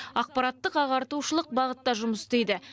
ақпараттық ағартушылық бағытта жұмыс істейді